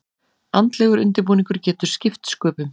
Andlegur undirbúningur getur skipt sköpum.